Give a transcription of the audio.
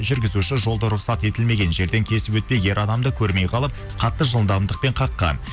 жүргізуші жолда рұқсат етілмеген жерден кесіп өтпек ер адамды көрмей қалып қатты жылдамдықпен қаққан